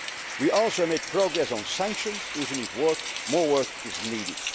Semester. We also made progress on sanctions, even if more work is